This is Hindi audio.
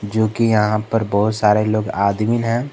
जो कि यहां पर बहुत सारे लोग आदमीन हैं।